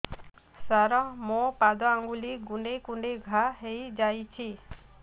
ସାର ମୋ ପାଦ ଆଙ୍ଗୁଳି କୁଣ୍ଡେଇ କୁଣ୍ଡେଇ ଘା ହେଇଯାଇଛି